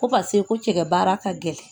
Ko paseke ko cɛkɛ baara ka gɛlɛn